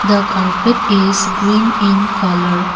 The carpet is green in colour.